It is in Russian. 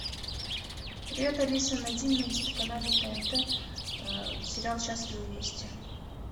привет алиса найди на телеканале тнт сериал счастливы вместе